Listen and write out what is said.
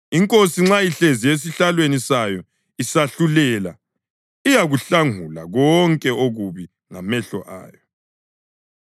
Inkosi nxa ihlezi esihlalweni sayo isahlulela, iyakuhlungula konke okubi ngamehlo ayo.